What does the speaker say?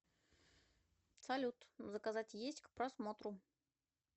салют заказать есть к просмотру